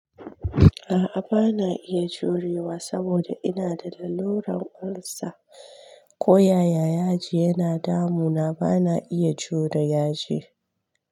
A'a bana iya jurewa saboda ina da lalurar ulcer, ko yaya yaji yana damu na bana iya jure yaji.